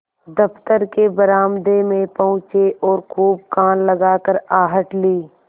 दफ्तर के बरामदे में पहुँचे और खूब कान लगाकर आहट ली